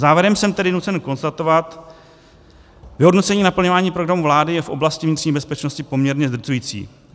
Závěrem jsem tedy nucen konstatovat, vyhodnocení naplňování programu vlády je v oblasti vnitřní bezpečnosti poměrně zdrcující.